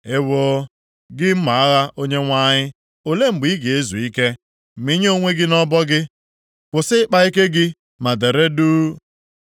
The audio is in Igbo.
“ ‘Ewoo, gị mma agha Onyenwe anyị, ole mgbe ị ga-ezu ike? Mịnye onwe gị nʼọbọ gị, kwụsị ịkpa ike gị ma dere duu.’